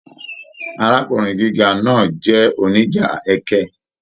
Arákùnrin gíga náà jẹ oníjà ẹkẹ.